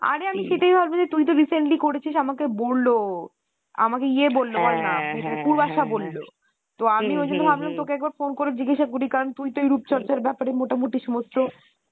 অরে আমি সেটাই ভাবছি যে তুই তো recently করেছিস আমাকে বললো আমাকে ইয়ে বললো পূর্বাশা বললো তো আমিও ঐজন্য ভাবলাম তোকে একবার phone করে জিজ্ঞাসা করি কারণ তুই তো এই রূপচর্চার ব্যাপারে মোটামুটি